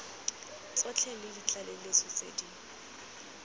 tsotlhe le ditlaleletso tse di